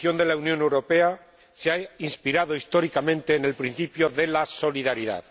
La construcción de la Unión Europea se ha inspirado históricamente en el principio de la solidaridad.